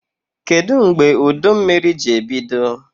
Kedụ mgbe udummiri ji ebido?